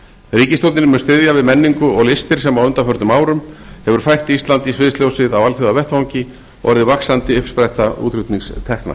ríkisstjórnin mun styðja við lengingu og listir sem á undaförnum hefur fært ísland í sviðsljósið á alþjóðavettvangi og orðið vaxandi uppspretta útflutningstekna